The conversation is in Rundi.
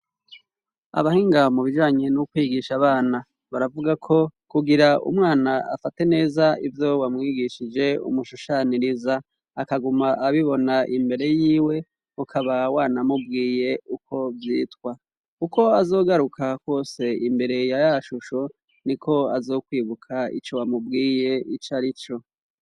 abahinga mubijanye n'ukwigisha abana baravuga ko kugira umwana afate neza ibyo wamwigishije umushushaniriza akaguma abibona imbere y'iwe ukaba wana mubwiye uko byitwa kuko azogaruka kwose imbere ya yashusho niko azokwibuka ico wamubwiye icarico.